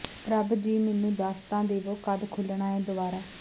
ਪ੍ਰਭ ਜੀ ਮੈਨੂੰ ਦੱਸ ਤਾਂ ਦੇਵੋ ਕਦ ਖੁੱਲ੍ਹਣਾ ਏ ਦੁਆਰਾ